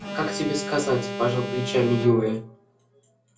как тебе сказать пожал плечами юра